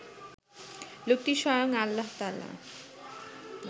লোকটি স্বয়ং আল্লাহতায়ালা